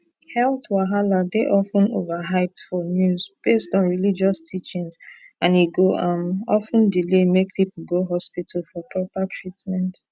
health wahala dey of ten overhyped for news based on religious teachings and e go um of ten delay make people go hospital for proper treatment